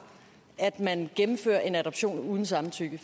at man gennemfører en adoption uden samtykke